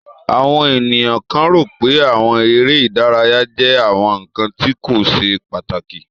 Awọn eniyan kan ro pé awọn ere idaraya jẹ awọn nkan ti ko ṣe pataki.